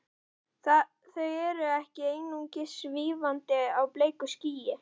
Þau eru ekki einungis svífandi á bleiku skýi.